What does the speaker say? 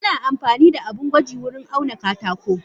Ana amfanida abun gwaji wurin auna katako.